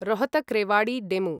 Rohtak Rewari DEMU